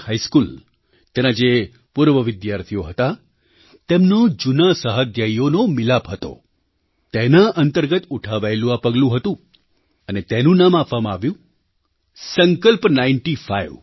high school તેના જે પૂર્વ વિદ્યાર્થીઓ હતા તેમનો જૂના સહાધ્યાયીઓનો મિલાપ હતો તેનાઅંતર્ગત ઉઠાવાયેલું આ પગલું હતું અને તેનું નામ આપવામાં આવ્યુંસંકલ્પ નાઇન્ટી ફાઇવ